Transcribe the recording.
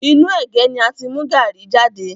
Inú ẹ̀gé ni a ti mú gaàrí jade